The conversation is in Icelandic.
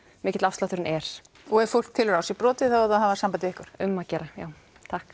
mikill afslátturinn er og ef fólk telur á sér brotið á það að hafa samband við ykkur um að gera já takk